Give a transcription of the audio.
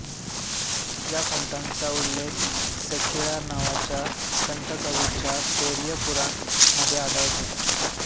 ह्या संताचा उल्लेख सेक्किळार नावाच्या संतकवींच्या पेरियपुराण मध्ये आढळतो